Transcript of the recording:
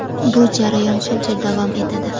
bu jarayon shuncha davom etadi.